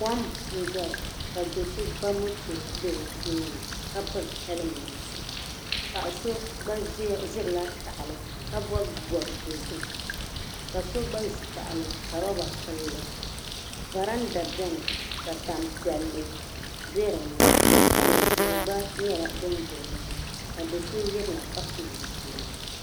Kom n dɔya ka dɔso ba moto n be di tooni, ka pili helment, paɣisɔ gba zirila tahili ka bɔbi bɔb dozim. kaso gba zi tahili ka rɔba. pili. varanda beni ka tam piɛli be dini , tanzɛɛ gba nyɛla din be dini ka do' sɔ ye bini ka pil zipiligu.